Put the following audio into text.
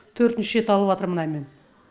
төртінші рет алыватырмын мына мен